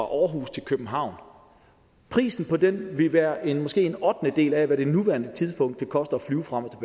aarhus til københavn prisen på den vil måske være en ottendedel af hvad det på nuværende tidspunkt koster